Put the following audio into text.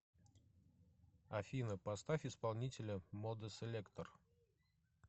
афина поставь исполнителя модеселектор